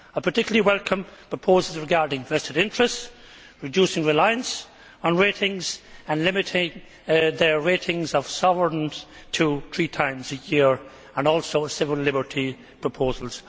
I particularly welcome proposals regarding vested interests, reducing reliance on ratings and limiting their ratings of sovereigns to three times a year, and also civil liberty proposals.